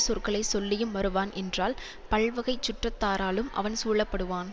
சொற்களை சொல்லியும் வருவான் என்றால் பல்வகைச் சுற்றத்தாராலும் அவன் சூழப்படுவான்